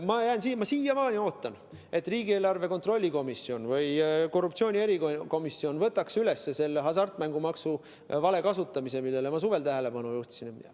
Ma siiamaani ootan, et riigieelarve kontrolli erikomisjon või korruptsioonivastane erikomisjon võtaks üles hasartmängumaksu vale kasutamise teema, millele ma suvel tähelepanu juhtisin.